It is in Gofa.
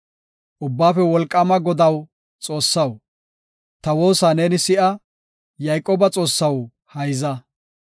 Ubbaafe Wolqaama Godaw Xoossaw, ta woosa neeni si7a; Yayqooba Xoossaw hayza. Salaha